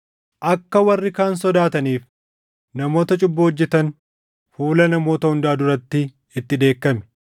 Akka warri kaan sodaataniif namoota cubbuu hojjetan fuula namoota hundaa duratti itti dheekkami.